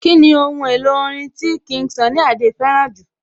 Kíni ohun èlò orin tí King Sunny Adé fẹ́ràn jù?